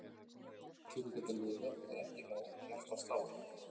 Til að geta lifað er ekki nóg að hjartað slái.